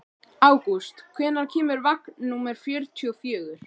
Ágúst, hvenær kemur vagn númer fjörutíu og fjögur?